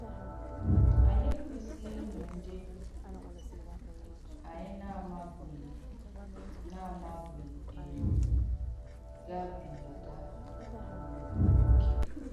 Ànyị èkwèsīghī ìnyọ̀ ndị ànyị na-àmàbughī na-àmàbughī ènyọ̀ gàbìàgà um ókè.